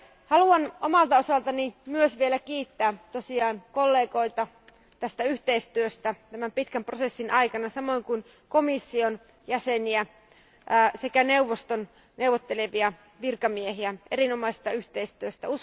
Haluan omalta osaltani myös vielä kiittää kollegoita yhteistyöstä tämän pitkän prosessin aikana, samoin kuin komission jäseniä sekä neuvoston neuvottelevia virkamiehiä erinomaisesta yhteistyöstä.